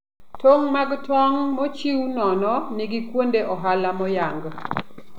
Tong' mag tong' mochiw nono nigi kuonde ohala moyang.